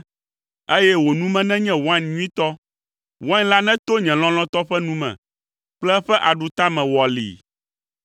eye wò nu me nenye wain nyuitɔ. Wain la neto nye lɔlɔ̃tɔ ƒe nu me kple eƒe aɖutame wɔlii.